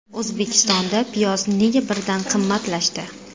O‘zbekistonda piyoz nega birdan qimmatlashdi?